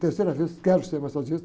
Terceira vez, quero ser massagista.